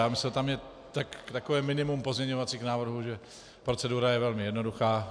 Já myslel, že tam je takové minimum pozměňovacích návrhů, že procedura je velmi jednoduchá.